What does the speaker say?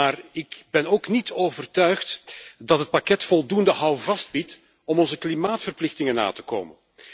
Maar ik ben niet overtuigd dat het pakket voldoende houvast biedt om onze klimaatverplichtingen na te komen.